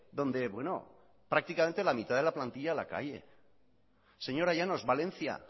donde bueno prácticamente la mitad de la plantilla a la calle señora llanos valencia